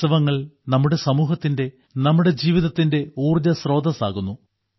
ഉത്സവങ്ങൾ നമ്മുടെ സമൂഹത്തിന്റെ നമ്മുടെ ജീവിതത്തിന്റെ ഊർജ്ജസ്രോതസ്സാകുന്നു